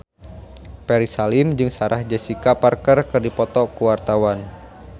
Ferry Salim jeung Sarah Jessica Parker keur dipoto ku wartawan